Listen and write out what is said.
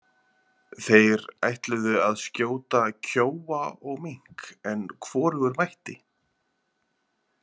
Þeir ætluðu að skjóta kjóa og mink en hvorugur mætti.